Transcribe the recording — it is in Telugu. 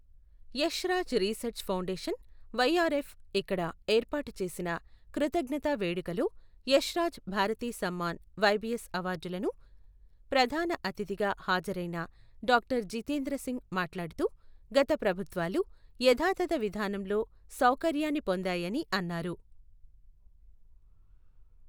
యష్రాజ్ రీసెర్చ్ ఫౌండేషన్ వైఆర్ఎఫ్ ఇక్కడ ఏర్పాటు చేసిన కృతజ్ఞతా వేడుక లో యష్రాజ్ భారతి సమ్మాన్ వైబిఎస్ అవార్డులను ప్రధాన అతిథిగా హాజరైన డాక్టర్ జితేంద్ర సింగ్ మాట్లాడుతూ, గత ప్రభుత్వాలు యథాతథ విధానంలో సౌకర్యాన్ని పొందాయని అన్నారు.